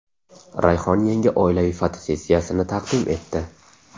Rayhon yangi oilaviy fotosessiyasini taqdim etdi.